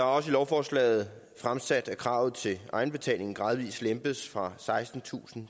også i lovforslaget at kravet til egenbetaling gradvis lempes fra sekstentusind